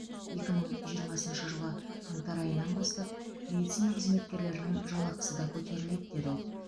екі мың жиырмасыншы жылы қаңтар айынан бастап медицина қызметкерлерінің жалақысы да көтеріледі деді ол